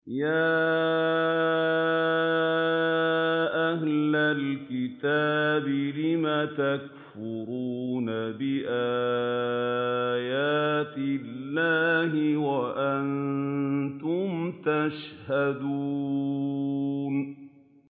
يَا أَهْلَ الْكِتَابِ لِمَ تَكْفُرُونَ بِآيَاتِ اللَّهِ وَأَنتُمْ تَشْهَدُونَ